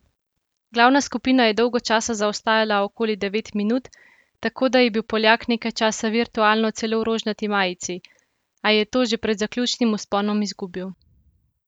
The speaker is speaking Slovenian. Glavna skupina je dolgo časa zaostajala okoli devet minut, tako da je bil Poljak nekaj časa virtualno celo v rožnati majici, a je to že pred zaključnim vzponom izgubil.